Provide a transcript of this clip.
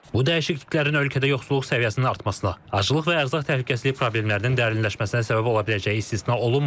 Bu dəyişikliklərin ölkədə yoxsulluq səviyyəsinin artmasına, aclıq və ərzaq təhlükəsizliyi problemlərinin dərinləşməsinə səbəb ola biləcəyi istisna olunmur.